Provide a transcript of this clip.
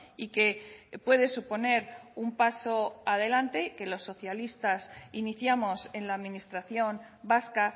y que puede suponer un paso adelante que los socialistas iniciamos en la administración vasca